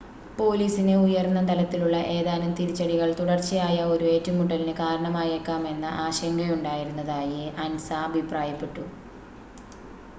" പോലീസിന് ഉയർന്ന തലത്തിലുള്ള ഏതാനും തിരിച്ചടികൾ തുടർച്ചയായുള്ള ഒരു ഏറ്റുമുട്ടലിന് കാരണമായേക്കാമെന്ന ആശങ്കയുണ്ടായിരുന്നതായി" അൻസ അഭിപ്രായപ്പെടുന്നു.